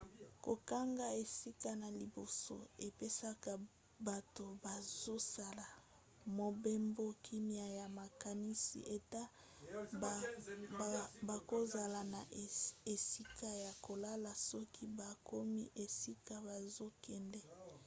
kokanga esika na liboso epesaka bato bazosala mobembo kimia ya makanisi ete bakozala na esika ya kolala soki bakomi esika bazokende